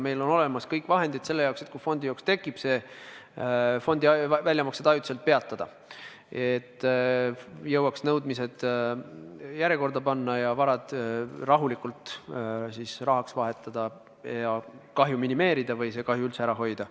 Meil on olemas kõik vahendid selle jaoks, et kui fondijooks tekib, siis fondide väljamaksed ajutiselt peatada, et jõuaks nõudmised järjekorda panna ja varad rahulikult rahaks vahetada ja kahju minimeerida või see üldse ära hoida.